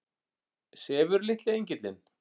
Sefur litli engillinn?